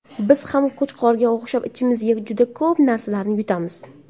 Biz ham Qo‘chqorga o‘xshab ichimizga juda ko‘p narsalarni yutamiz.